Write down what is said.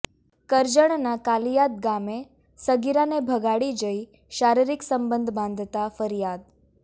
કરજણના કાલિયાદ ગામે સગીરાને ભગાડી જઇ શારીરિક સંબંધ બાંધતા ફરિયાદ